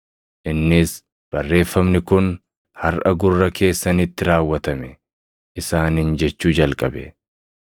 Innis, “Barreeffamni kun harʼa gurra keessanitti raawwatame” isaaniin jechuu jalqabe.